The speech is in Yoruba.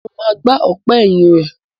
Mo ma gbá ọ̀pá ẹ̀yìn rẹ̀.